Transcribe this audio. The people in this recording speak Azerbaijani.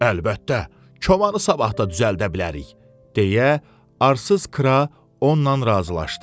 Əlbəttə, komanı sabah da düzəldə bilərik," deyə arsız Kra onunla razılaşdı.